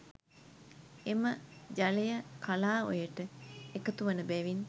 එම ජලය කලාඔයට එකතුවන බැවින්